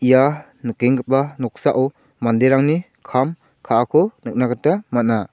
ia nikenggipa noksao manderangni kam ka·ako nikna gita man·a.